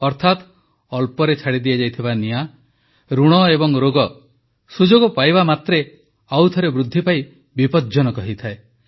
ଅର୍ଥାତ୍ ଅଳ୍ପରେ ଛାଡ଼ି ଦିଆଯାଇଥିବା ନିଆଁ ଋଣ ଏବଂ ରୋଗ ସୁଯୋଗ ପାଇବା ମାତ୍ରେ ଆଉ ଥରେ ବୃଦ୍ଧି ପାଇ ବିପଜ୍ଜନକ ହୋଇଯାଏ